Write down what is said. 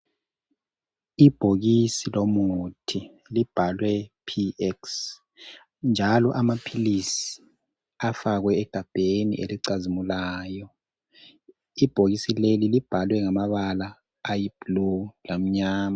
Ibhokisi lomuthi libhalwe Px njalo amaphilisi afakwe egabheni elicazimulayo ibhokisi leli libhalwe ngamabala ayibhulu lamnyama.